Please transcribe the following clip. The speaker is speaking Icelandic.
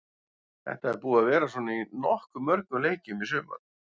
Þetta er búið að vera svona í nokkuð mörgum leikjum í sumar.